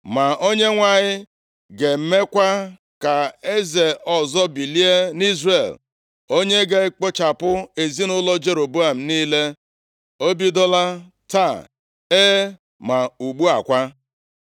“Ma Onyenwe anyị ga-emekwa ka eze ọzọ bilie nʼIzrel, onye ga-ekpochapụ ezinaụlọ Jeroboam niile. O bidola taa, e, ma ugbu a kwa!